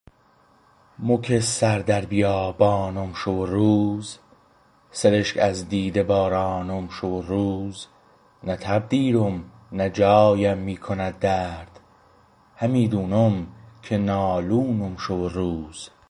مو که سر در بیابانم شو و روز سرشک از دیده بارانم شو و روز نه تب دیرم نه جایم میکند درد همی دونم که نالونم شو و روز